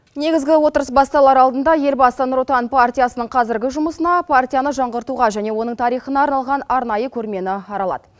негізгі отырыс басталар алдында елбасы нұр отан партиясының қазіргі жұмысына партияны жаңғыртуға және оның тарихына арналған арнайы көрмені аралады